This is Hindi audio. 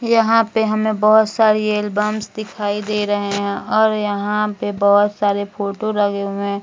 यहाँ पे हमे बोहोत सारी एल्बम्स दिखाई दे रहे हैं और यहाँ पे बहुत सारे फोटो लगे हुए हैं।